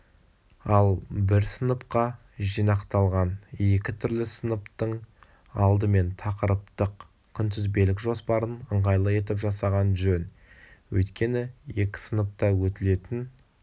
ал бір сыныпқа жинақталған екі түрлі сыныптың алдымен тақырыптық-күнтізбелік жоспарын ыңғайлы етіп жасаған жөн өйткені екі сыныпта өтілетін